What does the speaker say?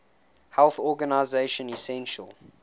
health organization essential